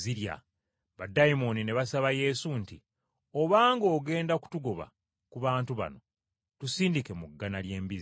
baddayimooni ne basaba Yesu nti, “Obanga ogenda kutogoba ku bantu bano, tusindike mu ggana ly’embizzi.”